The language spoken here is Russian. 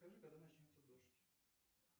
скажи когда начнется дождь